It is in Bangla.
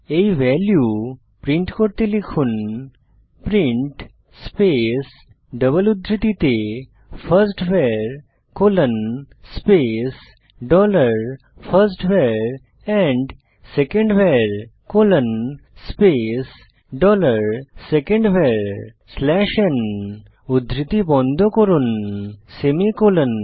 এই ভ্যালু প্রিন্ট করতে লিখুন প্রিন্ট স্পেস ডবল উদ্ধৃতিতে first var colon space dollar first var and second var colon space dollar second var slash n উদ্ধৃতি বন্ধ করুন সেমিকোলন